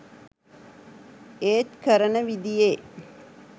ඒත් කරන විදියේ